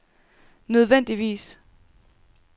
nødvendigvis